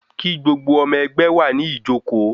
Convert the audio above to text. Kí gbogbo ọmọ ẹgbẹ́ wà ní ìjókóó